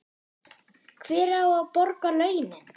Hver á að borga launin?